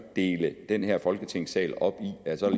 dele den her folketingssal op i at så er